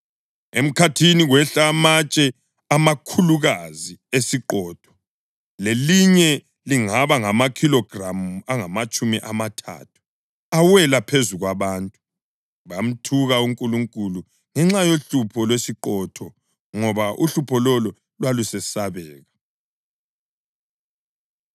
Emkhathini kwehla amatshe amakhulukazi esiqhotho, lilinye lingaba ngamakhilogramu angamatshumi amathathu, awela phezu kwabantu. Bamthuka uNkulunkulu ngenxa yohlupho lwesiqhotho ngoba uhlupho lolo lwalusesabeka.